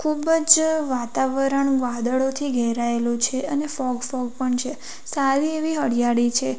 ખૂબ જ વાતાવરણ વાદળો થી ઘેરાયેલો છે અને ફોગ ફોગ પણ છે સારી એવી હરિયાળી છે.